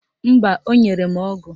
Mba, o nyere m ọgụ